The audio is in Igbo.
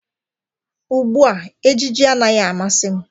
Ugbua ejiji anaghị amasị m